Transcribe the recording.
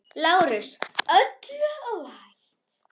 LÁRUS: Öllu óhætt!